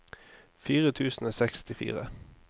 fire tusen og sekstifire